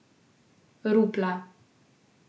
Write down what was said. Rupla.